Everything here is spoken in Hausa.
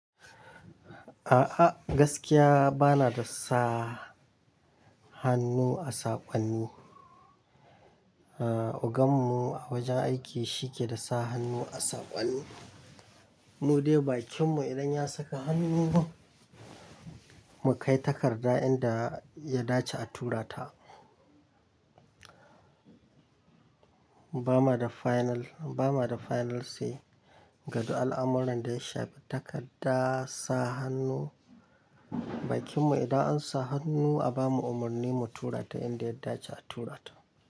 A'a, gaskiya ba na da sa hannu a saƙonni. Ogan mu a wajen aiki shi ke da sa hannu a saƙonni. Mu dai bakinmu idan ya saka hannu mu kai takarda inda ya dace a tura ta. Ba ma da final, ba ma da final say ga duk al'amuran da ya shafi takarda sa hannu. Bakinmu idan an sa hannu a ba mu umarni mu tura ta inda ya dace a tura ta.